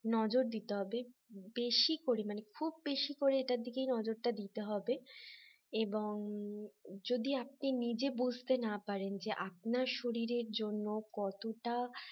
নজর দিতে হবে বেশি করে মানে খুব বেশি করে এটার দিকে নজরটা দিতে হবে এবং যদি আপনি নিজে বুঝতে না পারেন যে আপনার শরীরের জন্য কতটা